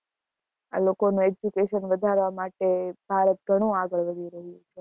આ લોકો નું education વધારવા માટે ભારત ઘણું આગળ વધી ગયું છે.